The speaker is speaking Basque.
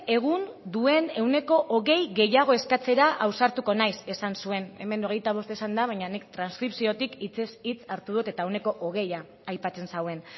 egun duen ehuneko hogei gehiago eskatzera ausartuko naiz esan zuen hemen hogeita bost esan da baina nik transkripziotik hitzez hitz hartu dut eta ehuneko hogeia aipatzen zuen